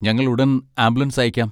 ഞങ്ങൾ ഉടൻ ആംബുലൻസ് അയയ്ക്കാം.